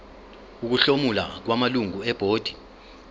ukuhlomula kwamalungu ebhodi